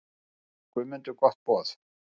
Þakkaði Guðmundur gott boð.